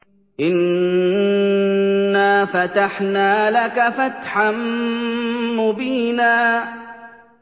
إِنَّا فَتَحْنَا لَكَ فَتْحًا مُّبِينًا